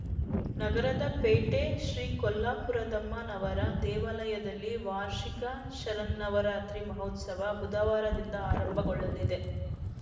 ನಗರದ ಪೇಟೆ ಶ್ರೀ ಕೊಲ್ಲಾಪುರದಮ್ಮನವರ ದೇವಾಲಯದಲ್ಲಿ ವಾರ್ಷಿಕ ಶರನ್ನವರಾತ್ರಿ ಮಹೋತ್ಸವ ಬುಧವಾರದಿಂದ ಆರಂಭಗೊಳ್ಳಲಿದೆ